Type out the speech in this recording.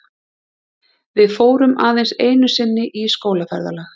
Við fórum aðeins einu sinni í skólaferðalag.